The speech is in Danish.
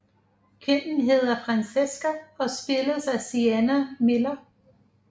Kvinden hedder Francesca og spilles af Sienna Miller